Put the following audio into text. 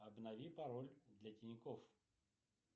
обнови пароль для тинькофф